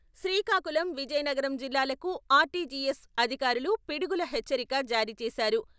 శ్రీకాకుళం విజయనగరం జిల్లాలకు ఆర్టీజీఎస్ అధికారులు పిడుగుల హెచ్చరిక జారీ చేశారు.